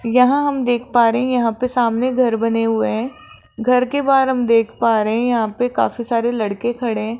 यहां हम देख पा रहे है यहां पे सामने घर बने हुए हैं घर के बाहर हम देख पा रहे है यहां पे काफी सारे लड़के खड़े है।